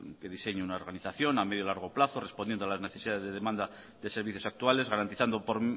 que diseñe una organización a medio largo plazo respondiendo a las necesidades de demanda de servicios actuales garantizando por